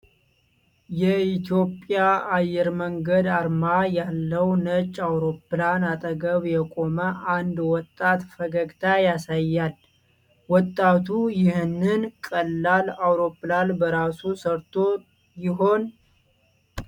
የኢትዮጵያ አየር መንገድ አርማ ያለው ነጭ አውሮፕላን አጠገብ የቆመ አንድ ወጣት ፈገግታ ያሳያል። ወጣቱ ይህንን ቀላል አውሮፕላን በራሱ ሰርቶ ይሆን?